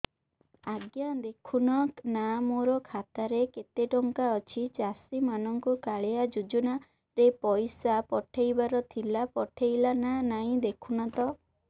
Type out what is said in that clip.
ଆଜ୍ଞା ଦେଖୁନ ନା ମୋର ଖାତାରେ କେତେ ଟଙ୍କା ଅଛି ଚାଷୀ ମାନଙ୍କୁ କାଳିଆ ଯୁଜୁନା ରେ ପଇସା ପଠେଇବାର ଥିଲା ପଠେଇଲା ନା ନାଇଁ ଦେଖୁନ ତ